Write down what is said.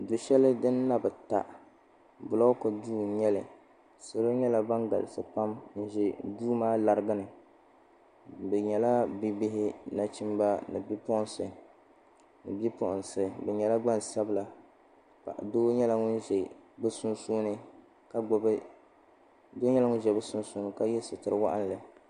Du'sheli din na bi ta bilooku duu n nyɛli salo nyɛla ban galisi pam n ʒia suu maa larigini bɛ nyɛla bibihi nachimba ni bipuɣinsi bɛ nyɛla gbansabila doo nyɛla ŋun be bɛ sunsuuni ka ye sitiri waɣinli.